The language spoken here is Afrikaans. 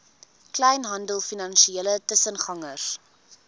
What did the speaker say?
kleinhandel finansiële tussengangers